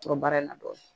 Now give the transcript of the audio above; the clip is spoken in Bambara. To baara in na dɔɔnin